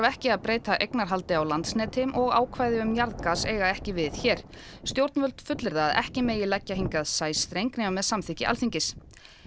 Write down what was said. ekki að breyta eignarhaldi á Landsneti ákvæði um jarðgas eiga ekki við hér stjórnvöld fullyrða að ekki megi leggja hingað sæstreng nema með samþykki Alþingis